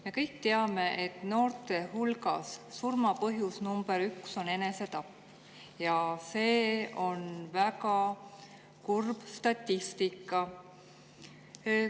Me kõik teame, et noorte hulgas on surma põhjus number üks enesetapp, ja see on väga kurb statistika.